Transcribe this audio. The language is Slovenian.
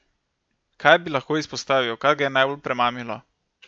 Kaj bi lahko izpostavil, kaj ga je najbolj premamilo?